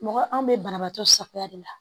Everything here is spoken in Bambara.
Mɔgɔ anw bɛ banabaatɔ safunɛ de la